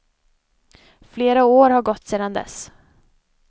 Flera år har gått sedan dess.